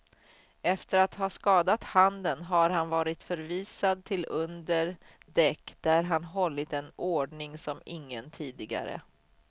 Efter att ha skadat handen har han varit förvisad till under däck där han hållit en ordning som ingen tidigare.